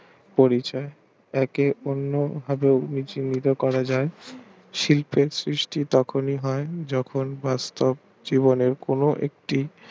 পরিচয় একে অন্য ভাবে বিচলিত করা যায় শিল্পের সৃষ্টি তখন হয় যখনি বাস্তব জীবনে কোনো একটি